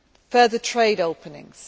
in the region further